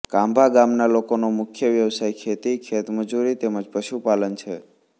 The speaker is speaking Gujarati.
કાંભા ગામના લોકોનો મુખ્ય વ્યવસાય ખેતી ખેતમજૂરી તેમ જ પશુપાલન છે